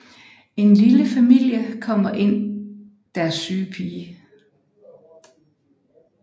En lille familie kommer ind deres syge pige